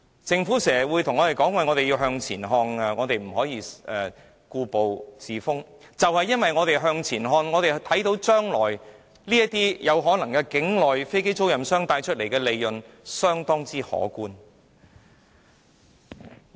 政府經常叫我們向前看，不要故步自封，但就是由於我們向前看，便看到將來境內飛機租賃商可能賺取相當可觀的利潤。